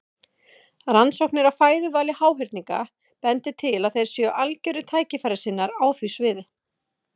Rannsóknir á fæðuvali háhyrninga bendir til að þeir séu algjörir tækifærissinnar á því sviði.